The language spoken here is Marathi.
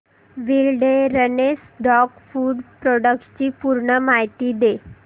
विलडेरनेस डॉग फूड प्रोडक्टस ची पूर्ण माहिती दे